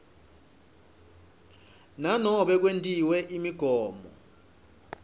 nanobe kwentiwe imigomo